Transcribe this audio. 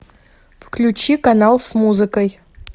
включи канал с музыкой